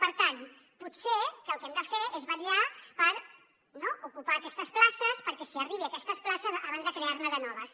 per tant potser que el que hem de fer és vetllar per ocupar aquestes places perquè s’hi arribi a aquestes places abans de crear ne de noves